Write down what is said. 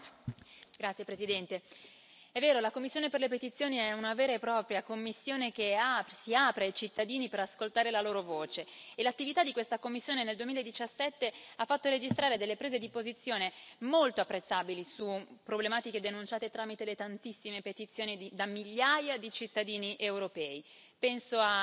Signor Presidente, onorevoli colleghi, è vero, la commissione per le petizioni è una vera e propria commissione che si apre ai cittadini per ascoltare la loro voce. L'attività di questa commissione, nel 2017, ha fatto registrare delle prese di posizione molto apprezzabili su problematiche denunciate tramite le tantissime petizioni da migliaia di cittadini europei penso